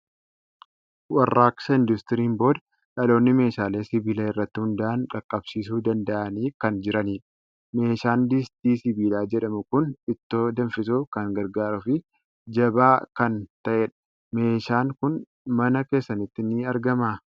Warraaqsa Industiriin booda dhaloonni meeshaalee sibiila irratti hundaa'an qaqqabsiisuu danda'anii kan jiranidha. Meeshaan distii sibiilaa jedhamu kun ittoo danfisuuf kan gargaaruu fi jabaa kan ta'edha. Meeshaan kun mana keessanitti ni argamaa?